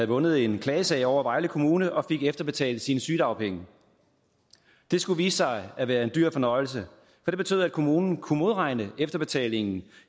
vundet en klagesag over vejle kommune og fik efterbetalt sine sygedagpenge det skulle vise sig at være en dyr fornøjelse for det betød at kommunen kunne modregne efterbetalingen